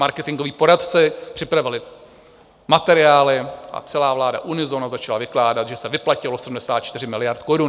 Marketingoví poradci připravili materiály a celá vláda unisono začala vykládat, že se vyplatilo 74 miliard korun.